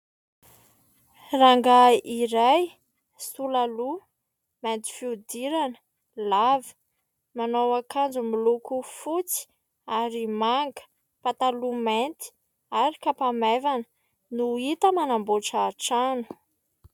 Rangahy iray sola loha, mainty fiodirana, lava ; manao akanjo miloko fotsy ary manga ; pataloha mainty ary kapa maivana no hita manamboatra trano.